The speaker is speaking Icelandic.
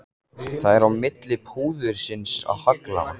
Það er á milli púðursins og haglanna.